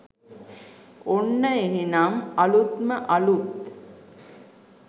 ඔන්න එහෙනම් අලුත්ම අලුත්